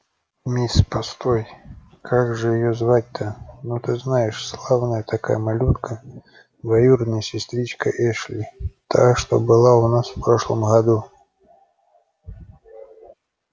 мисс постой как же её звать-то ну ты знаешь славная такая малютка двоюродная сестричка эшли та что была у нас в прошлом году